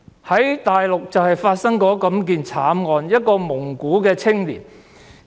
在內地曾經發生這樣的慘案，一名蒙古青年......